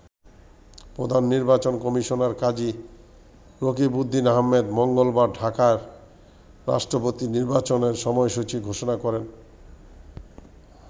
প্রধান নির্বাচন কমিশনার কাজী রকিবউদ্দীন আহমেদ মঙ্গলবার ঢাকায় রাষ্ট্রপতি নির্বাচনের সময়সূচি ঘোষণা করেন।